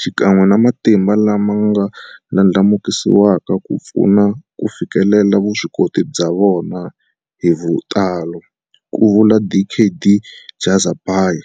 xikan'we na matimba lama nga ndlandlamukisiwaka ku va pfuna ku fikelela vuswikoti bya vona hi vutalo, ku vula Dkd Jhazbhay.